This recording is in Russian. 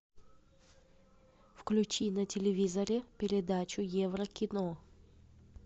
включи на телевизоре передачу евро кино